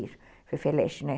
Isso, Fefeleche, né?